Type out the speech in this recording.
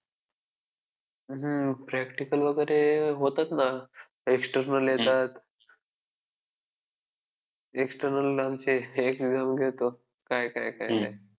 हम्म practical वगैरे होतात ना external येतात. external आमचे एक व्यंग येतो काय काय काय?